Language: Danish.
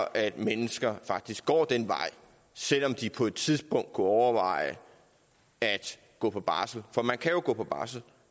at mennesker faktisk går den vej selv om de på et tidspunkt kunne overveje at gå på barsel for man kan jo gå på barsel